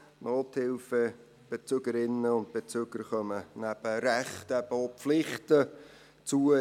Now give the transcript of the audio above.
Nothilfebezügerinnen und -bezügern kommen nebst Rechten eben auch Pflichten zu.